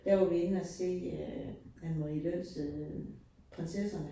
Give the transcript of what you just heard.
Der var vi inde og se øh Anne Marie Løns øh Prinsesserne